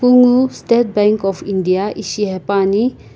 kunguo state bank of india ishi haepane.